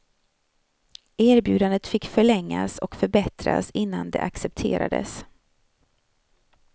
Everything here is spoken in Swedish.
Erbjudandet fick förlängas och förbättras innan det accepterades.